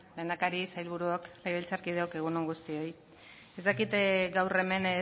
lehendakari sailburuok legebiltzarkideok egun on guztioi ez dakit gaur hemen